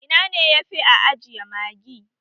Ina ne yafi a ajiye Magi?